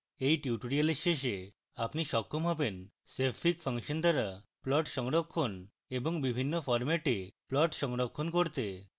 at tutorial শেষে আপনি সক্ষম হবেন